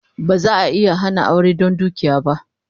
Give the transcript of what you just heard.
Ba za'a iya hana aure don dukiya ba